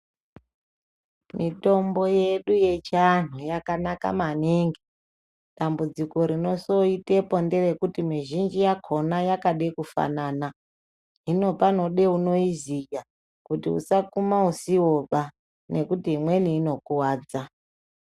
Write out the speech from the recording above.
Mitombo yedu yechianhu yakanaka maningi, dambudziko rinozoitepo ngerekuti mizhinji yakona yakade kufanana hino panode unoiziya kuti usakuma usiwoba ngekuti imweni inokuwadza.